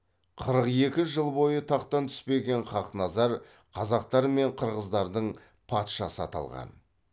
қырық екі жыл бойы тақтан түспеген хақназар қазақтар мен қырғыздардың патшасы аталған